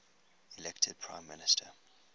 elected prime minister